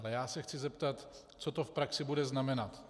Ale já se chci zeptat, co to v praxi bude znamenat.